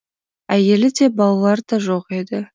әйелі де балалары да жоқ еді